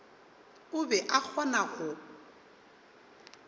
o be a kgona go